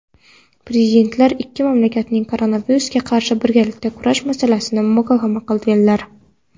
Prezidentlar ikki mamlakatning koronavirusga qarshi birgalikda kurash masalasini muhokama qilganlar.